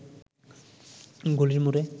গলির মোড়ে